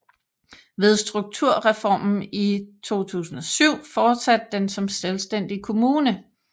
Ved strukturreformen i 2007 fortsatte den som selvstændig kommune